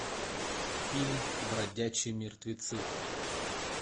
фильм бродячие мертвецы